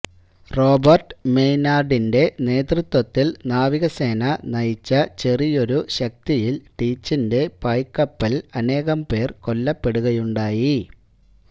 Robert മെയ്നാർഡിന്റെ നേതൃത്വത്തിൽ നാവികസേന നയിച്ച ചെറിയൊരു ശക്തിയിൽ ടീച്ചിന്റെ പായ്കപ്പലിൽ അനേകം പേർ കൊല്ലപ്പെടുകയുണ്ടായി